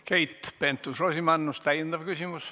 Keit Pentus-Rosimannus, täiendav küsimus.